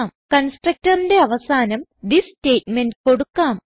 constructorന്റെ അവസാനം this statement കൊടുക്കാം